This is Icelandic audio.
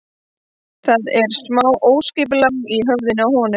Það er smá óskipulag í höfðinu á honum.